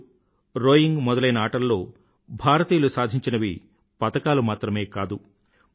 wushu rowing మొదలైన ఆటలలో భారతీయులు సాధించినవి పతకాలు మాత్రమే కాదు